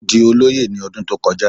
Ó di olóyè ní ọdún tó kọjá